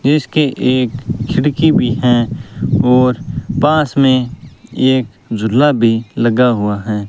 इसकी एक खिड़की भी है और पास में एक जुला भी लगा हुआ है।